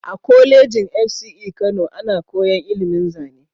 A kolejin FCE Kano ana koyan ilimin zane